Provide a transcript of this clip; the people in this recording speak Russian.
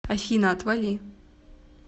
афина отвали